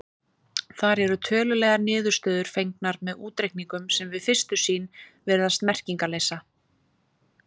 Þar eru tölulegar niðurstöður fengnar með útreikningum sem við fyrstu sýn virðast merkingarleysa.